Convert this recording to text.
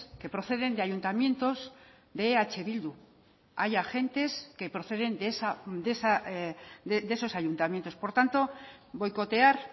que proceden de ayuntamientos de eh bildu hay agentes que proceden de esos ayuntamientos por tanto boicotear